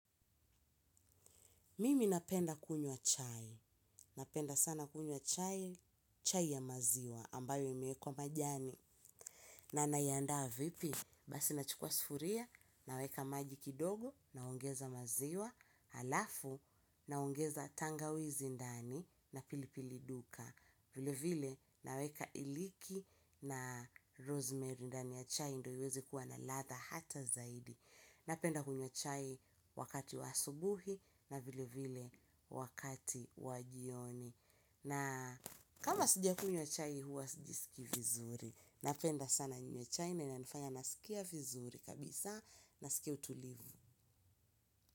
Mimi napenda kunywa chai, napenda sana kunywa chai, chai ya maziwa ambayo imewekwa majani. Na naiandaa vipi? basi nachukua sufuria, naweka maji kidogo, naongeza maziwa, alafu, naongeza tangawizi ndani na pilipili duka. Vile vile, naweka iliki na rosemary ndani ya chai ndo iweze kuwa na ladha hata zaidi. Napenda kunyw chai wakati wa asubuhi na vile vile wakati wa jioni. Na kama sijkunywa chai huwa sijisikii vizuri. Napenda sana ninywe chai na inanifanya nasikia vizuri kabisa nasikia utulivu.